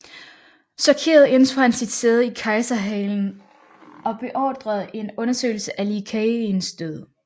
Chokeret indtog han sit sæde i kejserhalen og beordrede en undersøgelse af Li Keyins død